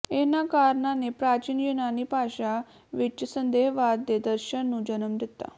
ਇਹਨਾਂ ਕਾਰਣਾਂ ਨੇ ਪ੍ਰਾਚੀਨ ਯੂਨਾਨੀ ਭਾਸ਼ਾ ਵਿੱਚ ਸੰਦੇਹਵਾਦ ਦੇ ਦਰਸ਼ਨ ਨੂੰ ਜਨਮ ਦਿੱਤਾ